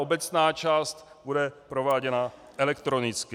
Obecná část bude prováděna elektronicky.